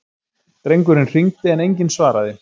Drengurinn hringdi en enginn svaraði.